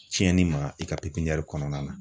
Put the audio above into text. Tiɲɛni ma i ka kɔnɔna na.